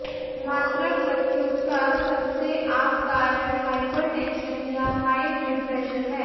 मातृक मृत्यु का सबसे आम कारण हाइपरटेंशन या हाई ब्लडप्रेशर है